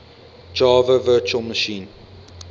java virtual machine